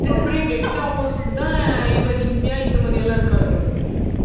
அப்பிடியே dead opposite தான் இவ நித்யா, இந்துமதி எல்லாம் இருக்காளுக